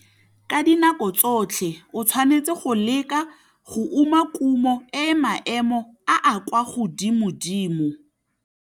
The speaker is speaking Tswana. Ka dinako tsotlhe o tshwanetse go leka go uma kumo e e maemo a a kwa godimodimo.